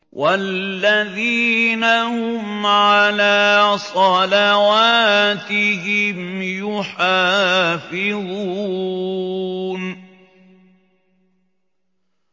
وَالَّذِينَ هُمْ عَلَىٰ صَلَوَاتِهِمْ يُحَافِظُونَ